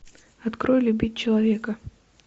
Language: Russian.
открой любить человека